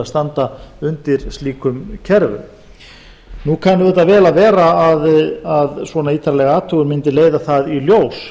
standa undir slíkum kerfum nú kann auðvitað vel að vera að svona ítarleg athugun mundi leiða það í ljós